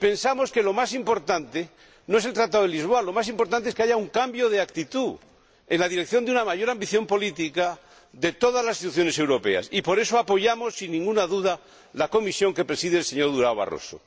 Pensamos que lo más importante no es el Tratado de Lisboa, lo más importante es que haya un cambio de actitud en la dirección de una mayor ambición política de todas las instituciones europeas y, por eso, apoyamos, sin ninguna duda, la Comisión que preside el señor Barroso.